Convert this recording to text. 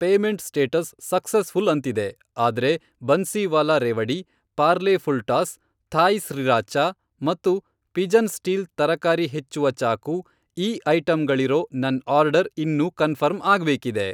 Payment status successful ಅಂತಿದೆ, ಆದ್ರೆ Bansiwala revdi, Parle full toss, Thai sriracha ಮತ್ತು ಪಿಜನ್ ಸ್ಟೀಲ್ ತರಕಾರಿ ಹೆಚ್ಚುವ ಚಾಕು ಈ ಐಟಂಗಳಿರೋ ನನ್ ಆರ್ಡರ್ ಇನ್ನೂ ಕನ್ಫರ್ಮ್ ಆಗ್ಬೇಕಿದೆ.